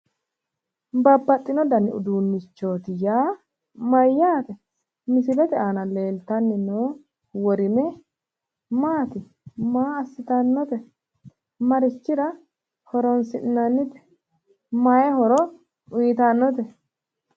Babbaxino dani uduunichooti yaa Mayyaate ? Misilete aana leelitanni noo worime maat maa assitannote? Marichira horonisi'nanite? Mayi horo uyitannote?